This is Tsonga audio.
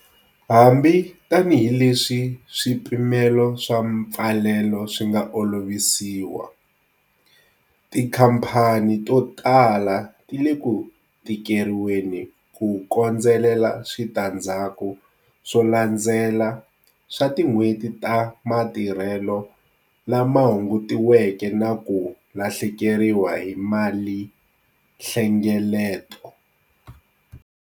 Hambi tanihileswi swipimelo swa mpfalelo swi nga olovisiwa, tikhamphani to tala ti le ku tikeriweni ku kondzelela switandzhaku swo landzela swa tin'hweti ta matirhelo lama hungutiweke na ku lahlekeriwa hi malinhlengeleto.